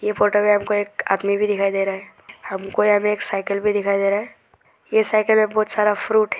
इस फोटो में हमें एक आदमी भी दिखाई दे रहा है हमको यहां में एक साइकिल भी दिखाई दे रहा है ये साइकिल में बहुत सारा फ्रूट है।